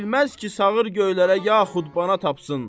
Bilməz ki, sağır göylərə yaxud bana tapsın.